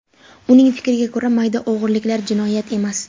Uning fikriga ko‘ra, mayda o‘g‘riliklar jinoyat emas.